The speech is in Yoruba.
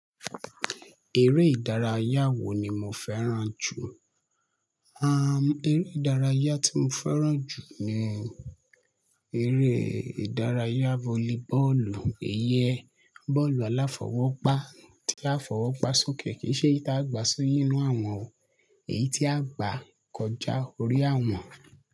Eré ìdárayá wo ni mo fẹ́ràn jù? Am, eré ìdárayá tí mo fẹ́ràn jù ni eré ìdárayá volleyball, iyẹn bọ́ọ̀lù aláfọwọ́gbá tí a fọwọ́ gbá sókè kì í ṣeyi tí a gbá sìínú àwọ̀n o, èyí tí a gbá kọjá orí àwọ̀n.